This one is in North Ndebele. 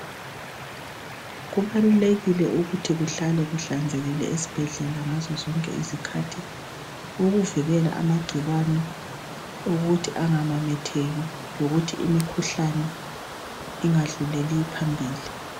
Kubalulekile ukuthi kuhlale kuhlanzekile esibhedlela ngazozonke izikhathi ukuvikela amagcikwane ukuthi angamemetheki lokuthi imikhuhlane ingadluleli phambili.